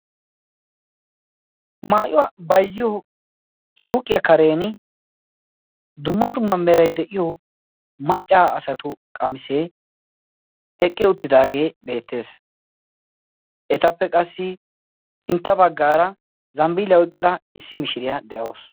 maayuwaa bayiziyo suuqiyaa karen dumma dumma meray de'iyo maccaa asatu qamisee eqqi uttidaagee beettees etappe qassi sintta baggaara zambbiiliyaa oyqqida issi mishiriyaa de'awusu